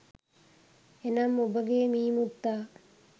එනම් ඔබගේ මී මුත්තා